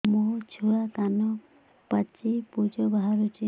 ମୋ ଛୁଆ କାନ ପାଚି ପୂଜ ବାହାରୁଚି